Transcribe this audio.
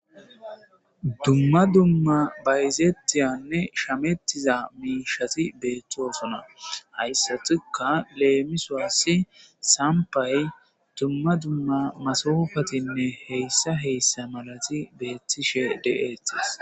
Dumma dumma bayzeettiyanne shamettiza miishati be7ettoosona hayssatuka leemiswassi sampay dumma dumma masofatinne heyssa heyssa malati beettishe de7eetis.